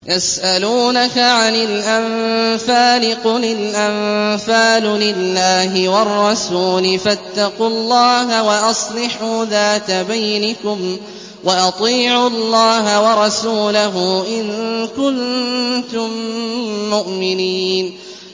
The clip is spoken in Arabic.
يَسْأَلُونَكَ عَنِ الْأَنفَالِ ۖ قُلِ الْأَنفَالُ لِلَّهِ وَالرَّسُولِ ۖ فَاتَّقُوا اللَّهَ وَأَصْلِحُوا ذَاتَ بَيْنِكُمْ ۖ وَأَطِيعُوا اللَّهَ وَرَسُولَهُ إِن كُنتُم مُّؤْمِنِينَ